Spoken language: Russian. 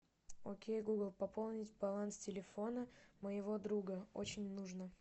окей гугл пополнить баланс телефона моего друга очень нужно